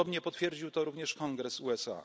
ludobójstwo. Podobnie potwierdził to również